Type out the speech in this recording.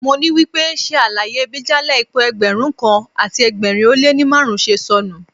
Mo ní wípé, ṣe àlàyé bí jáálá epo Ẹgbẹ̀rún kan àti ẹgbẹ̀rin ó lé ní márùn-ún ṣe sọnù.